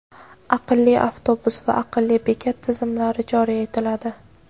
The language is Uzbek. "aqlli avtobus" va "aqlli bekat" tizimlari joriy etiladi.